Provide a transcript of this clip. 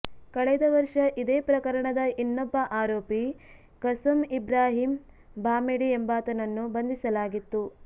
ಕಳೆದ ವರ್ಷ ಇದೇ ಪ್ರಕರಣದ ಇನ್ನೊಬ್ಬ ಆರೋಪಿ ಕಸಂ ಇಬ್ರಾಹಿಂ ಭಾಮೆಡಿ ಎಂಬಾತನನ್ನು ಬಂಧಿಸಲಾಗಿತ್ತು